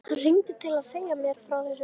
Hann hringdi til að segja mér frá þessu.